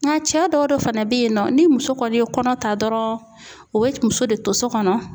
Ŋa cɛ dɔw de fana be yen nɔ ni muso kɔni ye kɔnɔ ta dɔrɔn u be c muso de to so kɔnɔ.